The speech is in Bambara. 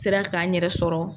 N sera k'a n yɛrɛ sɔrɔ.